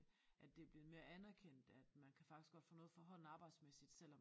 At det er blevet mere anerkendt at man kan faktisk godt få noget for hånden arbejdsmæssigt selvom